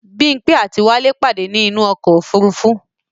Bímpé àti wálé pàdé ní inú ọ̀kọ̀ ofúrufú